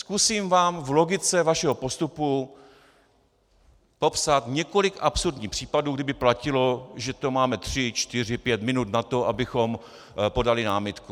Zkusím vám v logice vašeho postupu popsat několik absurdních případů, kdyby platilo, že to máme 3, 4, 5 minut na to, abychom podali námitku.